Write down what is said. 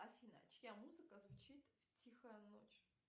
афина чья музыка звучит в тихая ночь